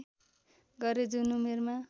गरे जुन उमेरमा